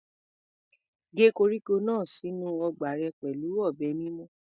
Gé koríko náà sínú ọgbà rẹ pẹ̀lú ọ̀bẹ mímú.